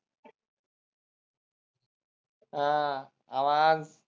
हा आवाज